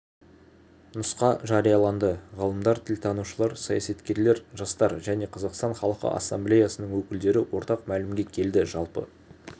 нұсқа жарияланды ғалымдар тілтанушылар саясаткерлер жастар және қазақстан халқы ассамблеясының өкілдері ортақ мәмілеге келді жалпы